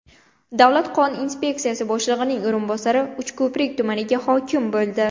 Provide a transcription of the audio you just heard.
Davlat don inspeksiyasi boshlig‘ining o‘rinbosari Uchko‘prik tumaniga hokim bo‘ldi.